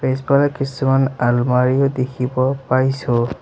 পিছফালে কিছুমান আলমাৰিও দেখিব পাইছোঁ।